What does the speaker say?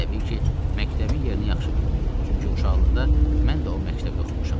Təbii ki, məktəbin yerini yaxşı bilirdim, çünki uşaqlıqda mən də o məktəbdə oxumuşam.